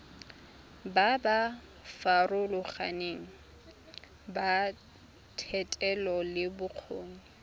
ba ba farologaneng ba thetelelobokgoni